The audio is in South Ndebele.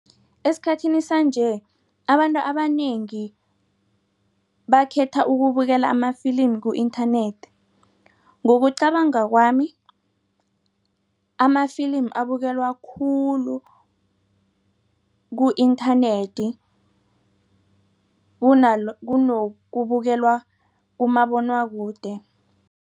Esikhathini sanje abantu abanengi bakhetha ukubukela amafilimu ku-internet ngokucabanga kwami amafilimi abukelwa khulu ku-nternet kunokubukelwa kumabonwakude.